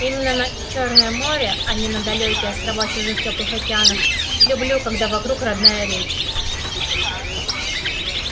именно на чёрное море а не на далёкие острова чужих тёплых океанов люблю когда вокруг родная речь